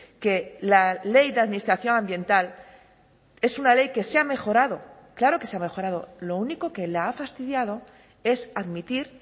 que la ley de administración ambiental es una ley que se ha mejorado claro que se ha mejorado lo único que la ha fastidiado es admitir